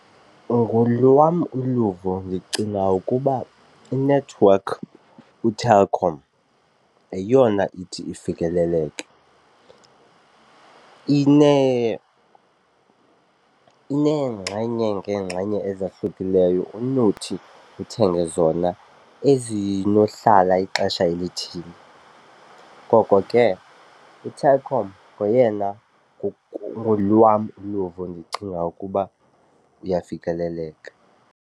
Ngolwam uluvo ndicinga ukuba inethiwekhi uTelkom yeyona ithi ifikeleleke. Ineengxenye ngeengxenye ezahlukileyo onothi uthenge zona ezinohlala ixesha elithile. Koko ke uTelkom ngoyena ngolwam uluvo ndicinga ukuba uyafikeleleka.